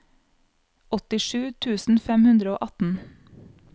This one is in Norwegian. åttisju tusen fem hundre og atten